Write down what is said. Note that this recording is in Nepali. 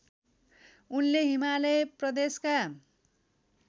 उनले हिमालय प्रदेशका